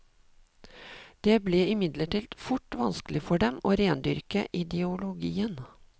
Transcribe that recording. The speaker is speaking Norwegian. Det ble imidlertid fort vanskelig for dem å rendyrke ideologien.